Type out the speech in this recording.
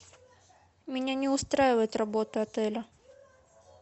меня не устраивает работа отеля